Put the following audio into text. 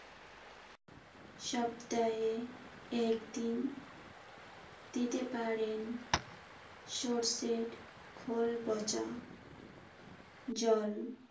সপ্তাহে একদিন দিতে পারেন সরষের খৈল পঁচা জল।